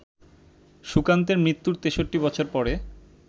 সুকান্তের মৃত্যুর ৬৩-বছর পরে